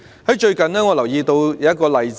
我最近留意到一個例子。